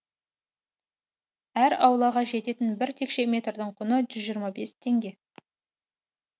әр аулаға жететін бір текше метрдің құны жүз жиырма бес теңге